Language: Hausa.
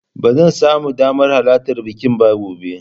Ba zan samu damar halarta bikin ba gobe.